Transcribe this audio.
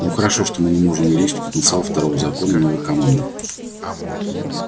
ну хорошо мы не можем увеличить потенциал второго закона новой командой